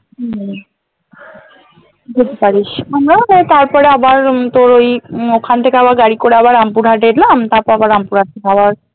উম যেতে পারিস আমরাওতো তারপরে আবার উম তোর ওই উম ওখানথেকে আবার গাড়ি করে আবার রামপুরহাট এলাম তারপর আবার রামপুরহাট